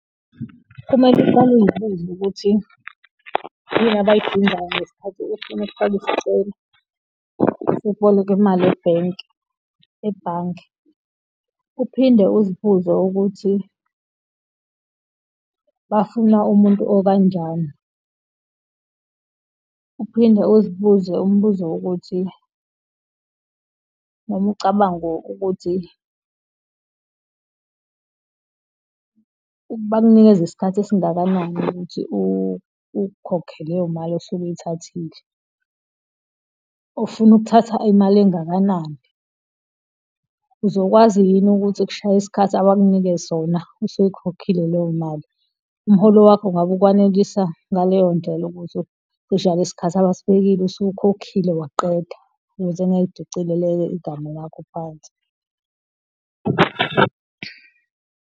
Kumele uqale uzibuze ukuthi yini abayidingayo ngesikhathi ufuna ukufaka isicelo sokuboleka imali ebhenki, ebhange. Uphinde uzibuze ukuthi bafuna umuntu okanjani. Uphinde uzibuze umbuzo wokuthi, noma ucabanga ukuthi bakunikeza isikhathi esingakanani ukuthi uyikhokhe leyo mali osuke uyithathile. Ufuna ukuthatha imali engakanani? Uzokwazi yini ukuthi kushaya iskhathi abakunike sona, usuyikhokhile leyo mali? Umholo wakho ngabe ukwanelisa ngaleyo ndlela ukuthi kushaya lesi sikhathi abasibekile, usukhokhile waqeda, ukuze ungayidicilele igama lakho phansi.